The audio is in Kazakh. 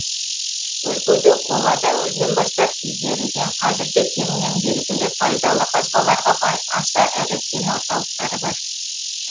өлкеде қола дәуірінен бастап игерілген қазір де кеңінен белгілі пайдалы қазбаларға бай аса ірі кен орталықтары бар